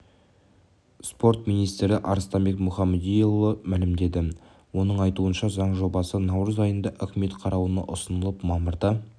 спорт министрі арыстанбек мұхамедиұлы мәлімдеді оның айтуынша заң жобасы наурыз айында үкімет қарауына ұсынылып мамырда